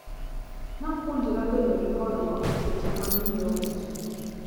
Napuonjra bedo gi horuok seche ma anyiewo e chiro.